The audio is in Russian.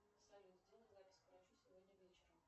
салют сделай запись к врачу сегодня вечером